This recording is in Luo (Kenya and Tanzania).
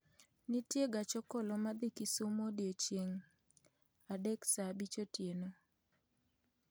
nitie gach okolo madhi Kisumu odiechieng' adek saa abich otieno